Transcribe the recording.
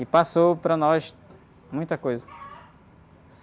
E passou para nós muita coisa.